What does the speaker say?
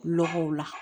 Lɔgɔw la